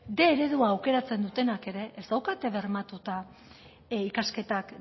bostehun eredua aukeratzen dutenak ere ez daukate bermatuta ikasketak